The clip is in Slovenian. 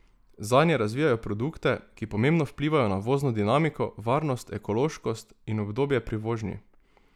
Zanje razvijajo produkte, ki pomembno vplivajo na vozno dinamiko, varnost, ekološkost in udobje pri vožnji.